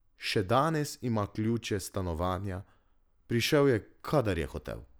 Še danes ima ključe stanovanja, prišel je, kadar je hotel.